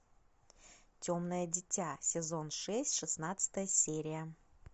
темное дитя сезон шесть шестнадцатая серия